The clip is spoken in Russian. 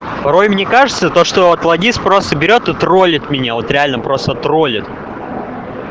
порой мне кажется то что вот логист просто берет и троллит меня вот реально просто троллит